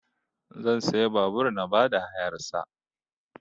Zan siya babur na ba da hayar sa